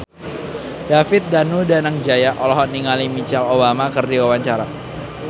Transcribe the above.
David Danu Danangjaya olohok ningali Michelle Obama keur diwawancara